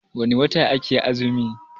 wane wata ake azumi?